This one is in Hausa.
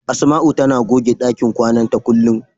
Asama'u tana goge ɗakin kwana ta kullum.